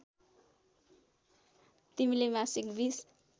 तिमीले मासिक २०